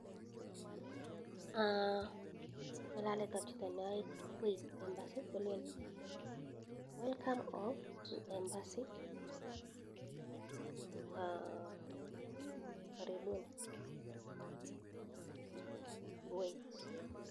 Ngalalek ab chito neae kuwait embassy kolen welcome home to embassy aah karibunii kuwait